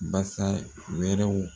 Basa wɛrɛw